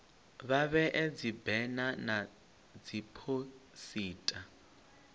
vha vhee dzibena na dziphosita